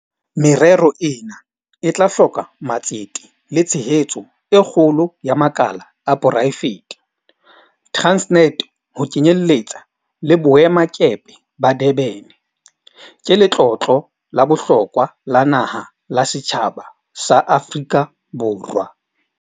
Merero ena e tla hloka matsete le tshehetso e kgolo ya makala a poraefete. Transnet, ho kenyeletsa le boemakepe ba Durban, ke letlotlo la bohlokwa la naha la setjhaba sa Aforika Borwa.